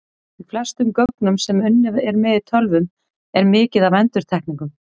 Í flestum gögnum sem unnið er með í tölvum er mikið af endurtekningum.